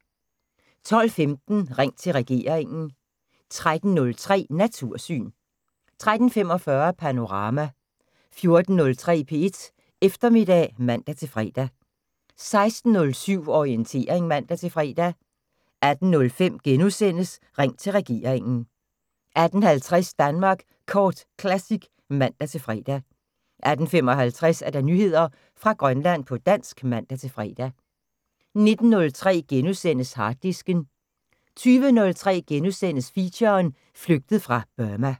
12:15: Ring til regeringen 13:03: Natursyn 13:45: Panorama 14:03: P1 Eftermiddag (man-fre) 16:07: Orientering (man-fre) 18:05: Ring til regeringen * 18:50: Danmark Kort Classic (man-fre) 18:55: Nyheder fra Grønland på dansk (man-fre) 19:03: Harddisken * 20:03: Feature: Flygtet fra Burma *